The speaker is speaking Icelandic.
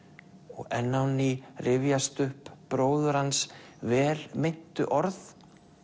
og enn á ný rifjast upp bróður hans vel meintu orð